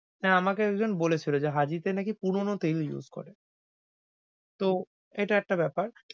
হ্যাঁ, আমকে একজন বলেছিল যে হাজীতে নাকি পুরনো তেল use করে। তো এটা একটা বেপার।